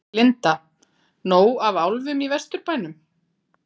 Linda: Nóg af álfum í Vesturbænum?